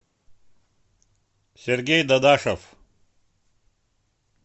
сергей дадашев